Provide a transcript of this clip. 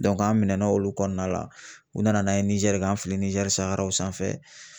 an minɛna olu kɔnɔna la, u nana n'an ye Nizɛri k'an fili Nizɛri saharaw sanfɛ